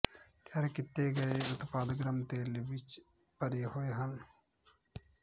ਤਿਆਰ ਕੀਤੇ ਗਏ ਉਤਪਾਦ ਗਰਮ ਤੇਲ ਵਿੱਚ ਭਰੇ ਹੋਏ ਹਨ